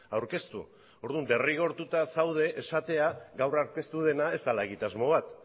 aurkeztu orduan derrigortuta zaude esatera gaur aurkeztu dena ez dela egitasmo bat